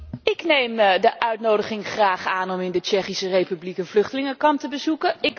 Ik neem de uitnodiging graag aan om in de Tsjechische Republiek een vluchtelingenkamp te bezoeken.